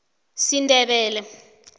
sindebele